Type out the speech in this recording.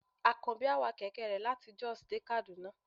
akanbi a wà kẹkẹ re latí Jos dé Kaduna